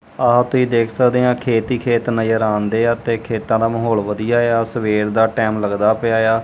ਆ ਤੁਹੀ ਦੇਖ ਸਕਦੇ ਆਂ ਖੇਤ ਈ ਖੇਤ ਨਜ਼ਰ ਆਂਦੇਆ ਤੇ ਖੇਤਾਂ ਦਾ ਮਾਹੌਲ ਵਧੀਆ ਏ ਆ ਸਵੇਰ ਦਾ ਟਾਈਮ ਲੱਗਦਾ ਪਿਆ ਏ ਆ।